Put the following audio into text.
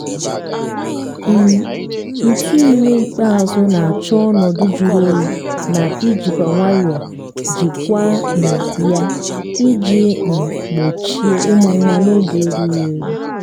um ntụ ime ịkpazụ na-achọ ọnọdụ juru oyi na ijikwa nwayọ jịkwa um ya iji um gbochie ịmụ nwa n'oge erughi.